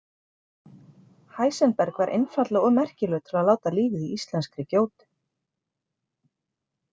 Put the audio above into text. Heisenberg var einfaldlega of merkilegur til að láta lífið í íslenskri gjótu.